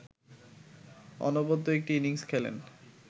অনবদ্য একটি ইনিংস খেলেন